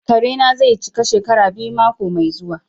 Kare na zai cika shekara biyu mako mai zuwa.